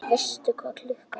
Veistu hvað klukkan er?